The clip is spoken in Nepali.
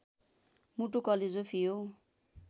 मुटु कलेजो फियो